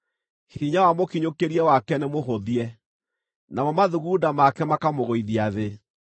Hinya wa mũkinyũkĩrie wake nĩmũhũthie; namo mathugunda make makamũgũithia thĩ.